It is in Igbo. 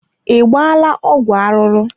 I gbaala ọgwụ arụrụ.